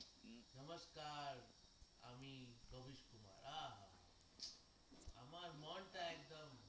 আমার মনটা একদম